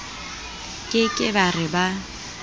ke ke ba re ba